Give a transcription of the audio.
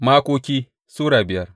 Makoki Sura biyar